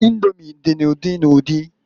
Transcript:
Indomi di n'udi n'udi.